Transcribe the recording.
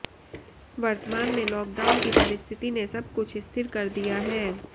वर्तमान में लॉकडाउन की परिस्थिति ने सबकुछ स्थिर कर दिया है